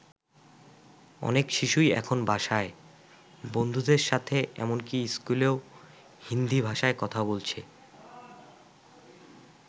অনেক শিশুই এখন বাসায়, বন্ধুদের সাথে এমনকি স্কুলেও হিন্দী ভাষায় কথা বলছে।